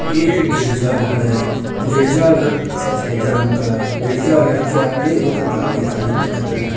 एक गिरजा घर है गिरजा घर सफ़ेद रंग का है गिरजा घर के आगे एक गाड़ी खड़ी दिख रही है।